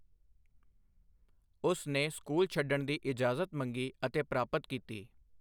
ਉਸਨੇ ਸਕੂਲ ਛੱਡਣ ਦੀ ਇਜਾਜ਼ਤ ਮੰਗੀ ਅਤੇ ਪ੍ਰਾਪਤ ਕੀਤੀ।